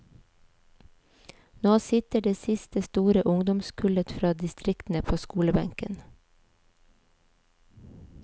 Nå sitter det siste store ungdomskullet fra distriktene på skolebenken.